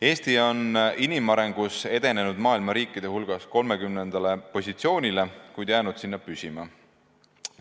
Eesti on inimarengus edenenud maailma riikide hulgas 30. positsioonile, kuid jäänud sinna püsima.